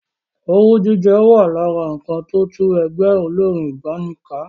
Owú jíjẹ wà lára nǹkan tó tú ẹgbẹ́ olórín ìgbàanì ká.